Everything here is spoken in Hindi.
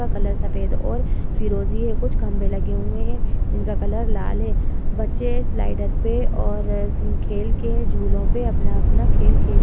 का कलर सफेद और फिरोजी कुछ खंबे लगे हुए हैं जिनका कलर लाल है। बच्चे स्लाइडर पे और खेल के झूले पे अपना-अपना खेल खे --